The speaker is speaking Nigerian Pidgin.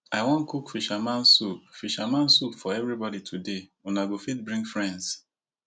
i wan cook fisherman soup fisherman soup for everybody today una go fit bring friends